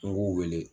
N b'u wele